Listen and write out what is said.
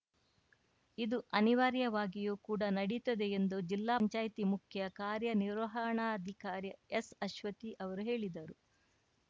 ಇದು ಅನಿವಾರ್ಯವಾಗಿಯೂ ಕೂಡ ನಡೆಯುತ್ತದೆ ಎಂದು ಜಿಲ್ಲಾ ಪಂಚಾಯ್ತಿ ಮುಖ್ಯ ಕಾರ್ಯನಿರ್ವಹಣಾಧಿಕಾರಿ ಎಸ್‌ ಅಶ್ವತಿ ಅವರು ಹೇಳಿದರು